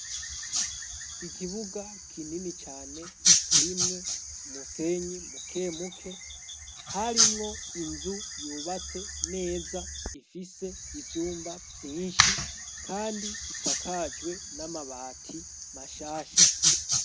Ikibuga kinini cane kirimwo umusenyi mukemuke, harimwo inzu yubatse neza ifise ibyumba byinshi kandi isakajwe n'amabati mashasha.